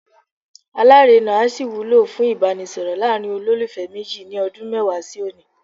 Alárèna á sì wúlò fún Ìbánisọ̀rọ̀ láàrin olólùfẹ́ méjì ní ọdún mẹ́wàá sí òní.